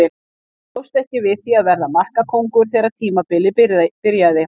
Hann bjóst ekki við því að vera markakóngur þegar tímabilið byrjaði.